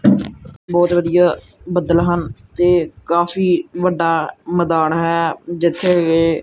ਬਹੁਤ ਵਧੀਆ ਬੱਦਲ ਹਨ ਤੇ ਕਾਫੀ ਵੱਡਾ ਮੈਦਾਨ ਹੈ ਜਿੱਥੇ ਗਏ--